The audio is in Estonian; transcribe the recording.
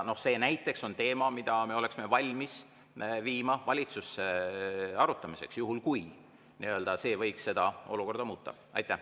See näiteks on teema, mida me oleksime valmis viima valitsusse arutamiseks, juhul kui see võiks olukorda muuta.